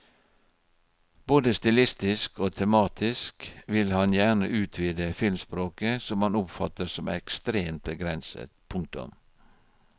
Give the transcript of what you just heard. Både stilistisk og tematisk vil han gjerne utvide filmspråket som han oppfatter som ekstremt begrenset. punktum